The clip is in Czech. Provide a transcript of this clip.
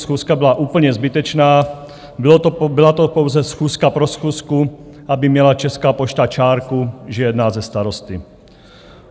Schůzka byla úplně zbytečná, byla to pouze schůzka pro schůzku, aby měla Česká pošta čárku, že jedná se starosty.